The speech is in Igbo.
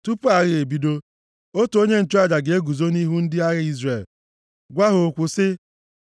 Tupu agha ebido, otu onye nchụaja ga-eguzo nʼihu ndị agha Izrel gwa ha okwu sị,